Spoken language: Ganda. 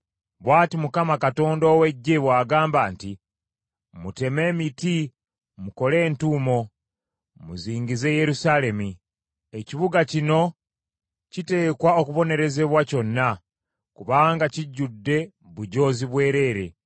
Bw’ati Mukama Katonda ow’Eggye bw’agamba nti, “Muteme emiti mukole entuumo muzingize Yerusaalemi. Ekibuga kino kiteekwa okubonerezebwa kyonna, kubanga kijjudde bujoozi bwerere.